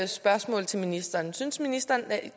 spørgsmål til ministeren synes ministeren at